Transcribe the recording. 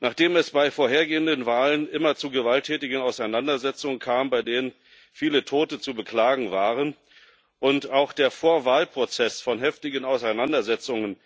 Nachdem es bei vorhergehenden Wahlen immer zu gewalttätigen Auseinandersetzungen kam, bei denen viele Tote zu beklagen waren, und auch der Vorwahlprozess von heftigen Auseinandersetzungen